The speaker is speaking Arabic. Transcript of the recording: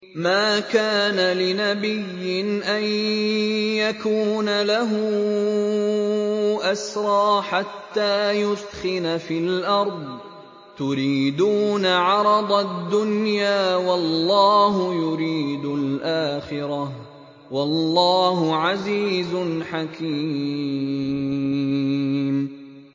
مَا كَانَ لِنَبِيٍّ أَن يَكُونَ لَهُ أَسْرَىٰ حَتَّىٰ يُثْخِنَ فِي الْأَرْضِ ۚ تُرِيدُونَ عَرَضَ الدُّنْيَا وَاللَّهُ يُرِيدُ الْآخِرَةَ ۗ وَاللَّهُ عَزِيزٌ حَكِيمٌ